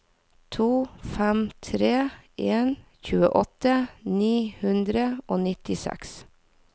to fem tre en tjueåtte ni hundre og nittiseks